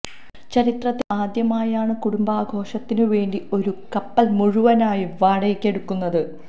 ചരിത്രത്തില് ആദ്യമായാണ് കുടുംബ ആഘോഷത്തിന് വേണ്ടി ഒരു കപ്പല് മുഴുവനായും വാടയ്ക്ക് എടുക്കുന്നത്